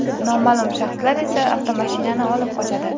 Noma’lum shaxslar esa avtomashinani olib qochadi.